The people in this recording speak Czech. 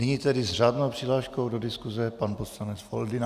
Nyní tedy s řádnou přihláškou do diskuse pan poslanec Foldyna.